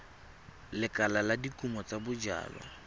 lekala la dikumo tsa bojalwa